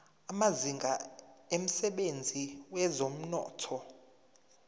amazinga emsebenzini wezomnotho